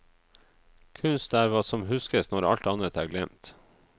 Kunst er hva som huskes når alt annet er glemt.